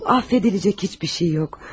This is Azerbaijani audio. Yavrum, affedilecek heç bir şey yox.